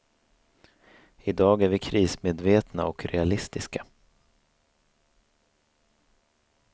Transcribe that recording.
I dag är vi krismedvetna och realistiska.